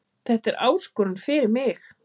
Þetta er áskorun fyrir mig